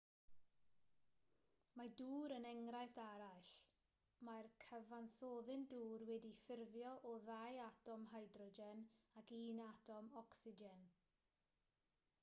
mae dŵr yn enghraifft arall mae'r cyfansoddyn dŵr wedi'i ffurfio o ddau atom hydrogen ac un atom ocsigen